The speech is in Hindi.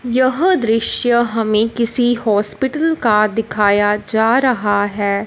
यह दृश्य हमें किसी हॉस्पिटल का दिखाया जा रहा है।